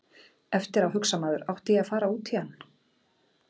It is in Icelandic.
Eftir á hugsar maður átti ég að fara út í hann?